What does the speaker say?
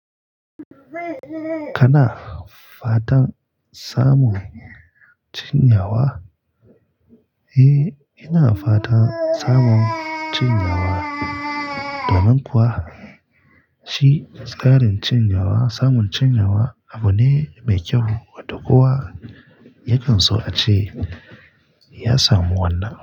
Kana fatan samun cinyawa? Eh, ina fatan samun cinyawa. Domin kuwa shi tsarin cinyawa, samun cinyawa abu ne mai kyau, wato kuwa yakan so a ce ya samu wannan.